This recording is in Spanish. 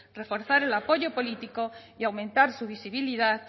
reforzar el apoyo político y aumentar su visibilidad